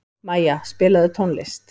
Maja, spilaðu tónlist.